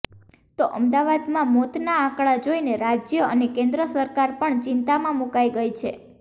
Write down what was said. તો અમદાવાદમાં મોતના આંકડા જોઇને રાજ્ય અને કેન્દ્ર સરકાર પણ ચિંતામાં મુકાઇ ગઇ છે